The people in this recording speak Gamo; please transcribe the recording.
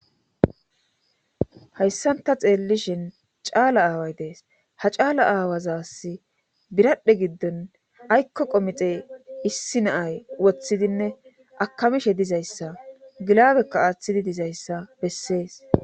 hayssanta xeellishin caala aaway dees ha caala aawazasi biradhe giddon aykko qomixe issi naay woththidinne akamishe dizayssa gilaabekka aaththidi dizayssa bessees